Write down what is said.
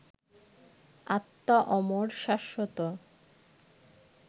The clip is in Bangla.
আত্মা অমর, শাশ্বত